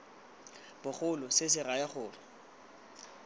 bogolo se se raya gore